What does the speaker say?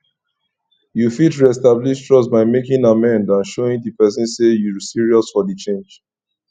you fit reestablish trust by making amend and showing di pesin say you serious for di change